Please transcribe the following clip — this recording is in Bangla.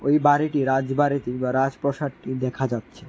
এই বাড়িটি রাজবাড়িতি বা রাজপ্রসাদটি দেখা যাচ্ছে।